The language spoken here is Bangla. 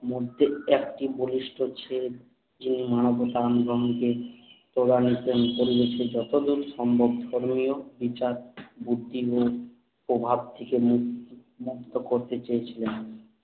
মধ্যে একটি বলিষ্ঠ ছেদ এই মানবতা আন্দোলনকে তোলার নিচের উপরিবর্তী যতোদুর সম্ভব করনিও বিচার বুদ্ধি নিয়ে প্রভাব থেকে মুক্ত করতে চেয়েছিলেন